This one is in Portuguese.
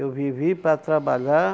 Eu vivi para trabalhar,